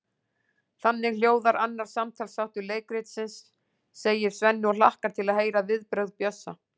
Þannig hljóðar annar samtalsþáttur leikritsins, segir Svenni og hlakkar til að heyra viðbrögð Bjössa.